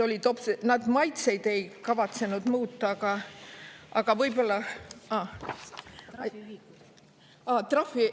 Nad maitseid ei kavatsenud muuta, aga võib-olla ...